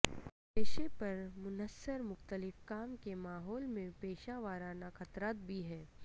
پیشے پر منحصر مختلف کام کے ماحول میں پیشہ ورانہ خطرات بھی ہیں